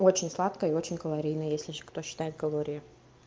очень сладкое и очень калорийное если ещё кто считает калории